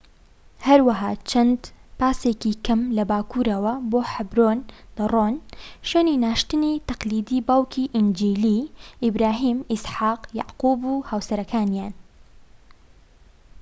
هەروەها چەند پاسێکی کەم لە باکوورەوە بۆ حەبرۆن دەڕۆن ،شوێنی ناشتنی تەقلیدی باوکی ئینجیلی، ئیبراهیم، ئیسحاق، یاقوب و هاوسەرەکانیان